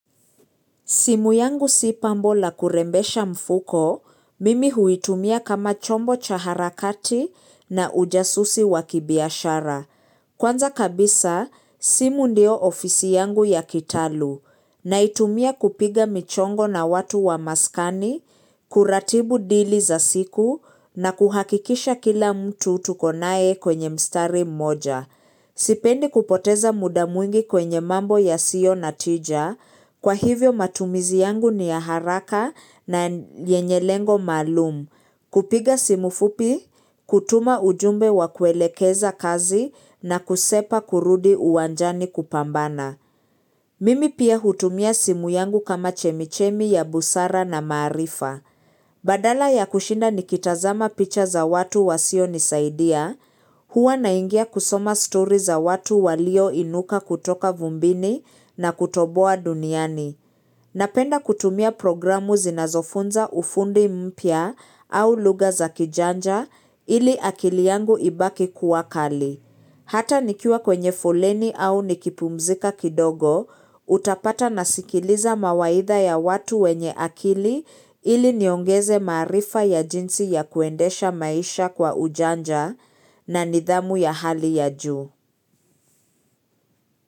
Simu yangu si pambo la kurembesha mfuko, mimi huitumia kama chombo cha harakati na ujasusi wa kibiashara. Kwanza kabisa, simu ndio ofisi yangu ya kitaalum, naitumia kupiga michongo na watu wa maskani, kuratibu dili za siku, na kuhakikisha kila mtu tukonaye kwenye mstari mmoja. Sipendi kupoteza muda mwingi kwenye mambo yasiyo na tija, kwa hivyo matumizi yangu ni ya haraka na yenye lengo maalum. Kupiga simu fupi, kutuma ujumbe wa kuelekeza kazi na kusepa kurudi uwanjani kupambana. Mimi pia hutumia simu yangu kama chemichemi ya busara na maarifa. Badala ya kushinda nikitazama picha za watu wasionisaidia, huwa naingia kusoma story za watu walioinuka kutoka vumbini na kutoboa duniani. Napenda kutumia programu zinazofunza ufundi mpya au lugha za kijanja ili akili yangu ibaki kuwa kali. Hata nikiwa kwenye foleni au nikipumzika kidogo, utapata nasikiliza mawaidha ya watu wenye akili ili niongeze maarifa ya jinsi ya kuendesha maisha kwa ujanja na nidhamu ya hali ya juu.